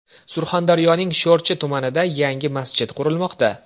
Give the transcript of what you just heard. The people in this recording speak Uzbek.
Surxondaryoning Sho‘rchi tumanida yangi masjid qurilmoqda .